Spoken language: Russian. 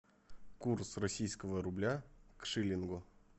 курс российского рубля к шиллингу